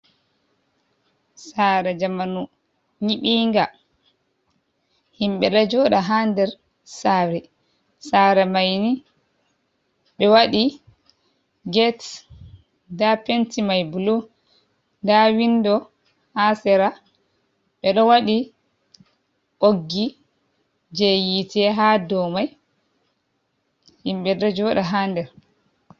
Sare jamanu yibinga. Himbe ɗo joɗa ha ɗer sare. sare maini be waɗi get l. Ɗaa penti mai bulu. Ɗa winɗo ha sera. Be ɗo waɗi boggi je yite ha ɗomai himbe ɗo joɗa ha ɗer.